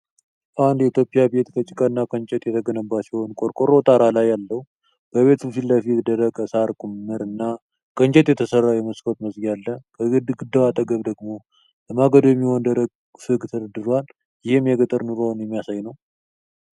አንድ የኢትዮጵያ ቤት ከጭቃና ከእንጨት የተገነባ ሲሆን ቆርቆሮ ጣራ አለው። በቤቱ ፊት ለፊት የደረቀ ሳር ክምር እና ከእንጨት የተሠራ የመስኮት መዝጊያ አለ። ከግድግዳው አጠገብ ደግሞ ለማገዶ የሚሆን ደረቅ ፍግ ተደርድሯል፤ ይህም የገጠር ኑሮን የሚያሳይ ነው።